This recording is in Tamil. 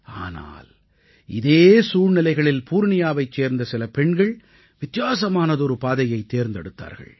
ஆனால் இதே சூழ்நிலைகளில் பூர்ணியாவைச் சேர்ந்த சில பெண்கள் வித்தியாசமானதொரு பாதையை தேர்ந்தெடுத்தார்கள்